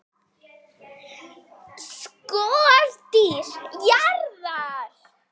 SKORDÝR JARÐAR!